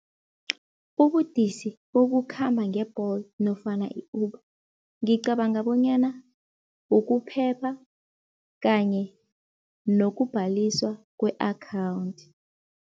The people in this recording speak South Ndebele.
Ubudisi bokukhamba nge-Bolt nofana i-Uber, ngicabanga bonyana ukuphepha kanye nokubhaliswa kwe-akhawunthi.